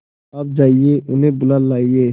आप जाइए उन्हें बुला लाइए